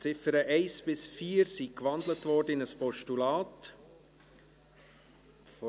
Die Ziffern 1 bis 4 wurden in ein Postulat gewandelt.